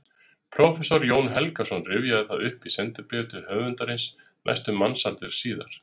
Prófessor Jón Helgason rifjaði það upp í sendibréfi til höfundarins næstum mannsaldri síðar